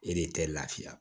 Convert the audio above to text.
E de tɛ lafiya